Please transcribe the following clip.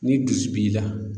Ni dusu b'i la